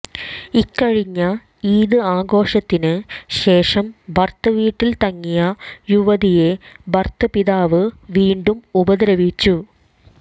ഇക്കഴിഞ്ഞ ഈദ് ആഘോഷത്തിന് ശേഷം ഭർതൃവീട്ടിൽ തങ്ങിയ യുവതിയെ ഭർതൃപിതാവ് വീണ്ടും ഉപദ്രവിച്ചു